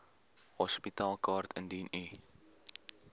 hospitaalkaart indien u